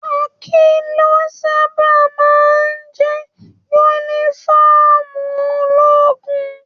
Khaki lo sábà máa jẹ yúnífọ̀ọ́mù ológun.